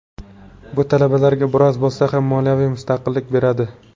Bu talabalarga biroz bo‘lsa ham moliyaviy mustaqillik beradi.